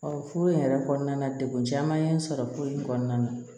furu in yɛrɛ kɔnɔna na degun caman ye n sɔrɔ ko in kɔnɔna na